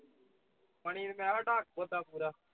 ਮਣੀ ਨੂੰ ਕਹਿ ਡਕ ਖੋਤਾ ਪੂਰਾ